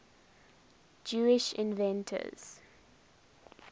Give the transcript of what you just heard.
jewish inventors